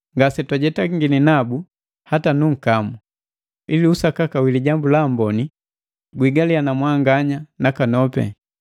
Ngase twajetangini nabu hata nunkamu, ili usakaka wa Lijambu la Amboni guigaliya na mwanganya nakanopi.